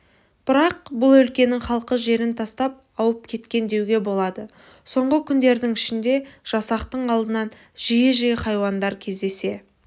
бірақ бұл өлкенің халқы жерін тастап ауып кеткен деуге болады соңғы күндердің ішінде жасақтың алдынан жиі-жиі хайуандар кездесе